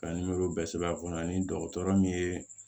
Ka bɛɛ sɛbɛn a kɔnɔ ani dɔgɔtɔrɔ min ye